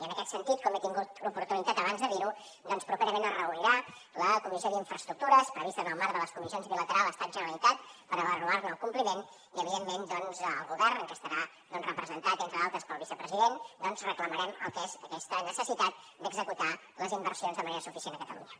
i en aquest sentit com he tingut l’oportunitat abans de dir ho doncs properament es reunirà la comissió d’infraestructures prevista en el marc de les comissions bilaterals estat generalitat per avaluar ne el compliment i evidentment el govern que estarà representat entre d’altres pel vicepresident reclamarem el que és aquesta necessitat d’executar les inversions de manera suficient a catalunya